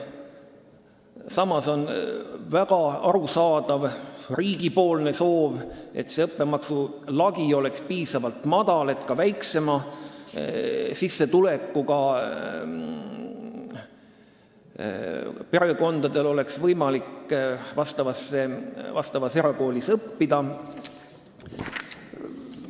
Samas on arusaadav riigi soov, et õppemaksu lagi oleks piisavalt madal, nii et ka väiksema sissetulekuga perekondade lastel oleks võimalik erakoolis õppida.